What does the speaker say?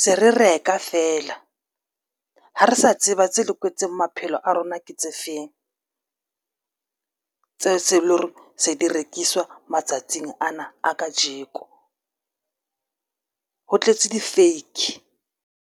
se re reka feela. Ha re sa tsebe ba tse loketseng maphelo a rona ke tse feng tseo tse leng hore se di rekiswa matsatsing ana a kajeko ho tletse di-fake.